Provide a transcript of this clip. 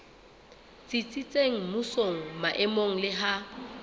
tsitsitseng mmusong maemong le ha